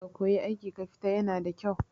Ka koyi aiki kafita yana da kyau